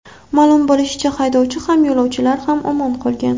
Ma’lum bo‘lishicha , haydovchi ham, yo‘lovchilar ham omon qolgan.